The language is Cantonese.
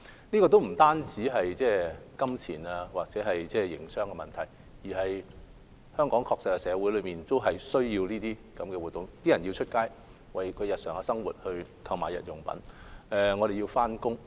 這不單是金錢或營商的問題，而是香港社會確實需要這些活動，包括市民要外出為日常生活購買日用品；我們也要上班等。